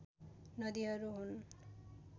नदीहरू हुन्